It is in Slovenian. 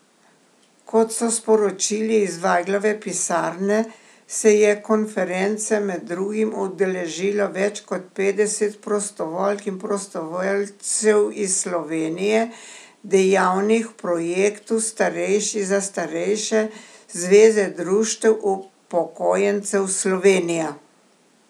Kot so sporočili iz Vajglove pisarne, se je konference med drugim udeležilo več kot petdeset prostovoljk in prostovoljcev iz Slovenije, dejavnih v projektu Starejši za starejše Zveze društev upokojencev Slovenija.